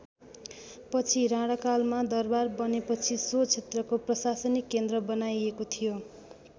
पछि राणाकालमा दरबार बनेपछि सो क्षेत्रको प्रसाशनिक केन्द्र बनाइएको थियो।